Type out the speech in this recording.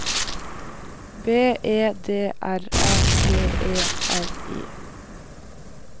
B E D R A G E R I